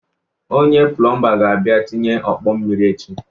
Onye plụmba ga-abịa tịnye ọkpọ mmiri echi